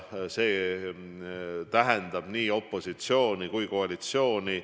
Ja see tähendab nii opositsiooni kui ka koalitsiooni.